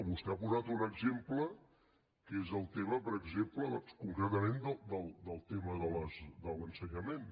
vostè ha posat un exemple que és el tema per exemple concretament del tema de l’ensenyament